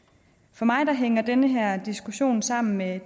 for mig hænger den her diskussion sammen med